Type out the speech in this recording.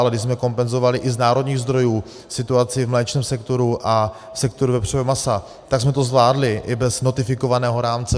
Ale když jsme kompenzovali i z národních zdrojů situaci v mléčném sektoru a sektoru vepřového masa, tak jsme to zvládli i bez notifikovaného rámce.